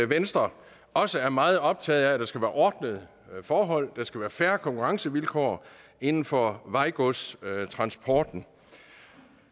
venstre også er meget optaget af at der skal være ordnede forhold og at der skal være fair konkurrencevilkår inden for vejgodstransporten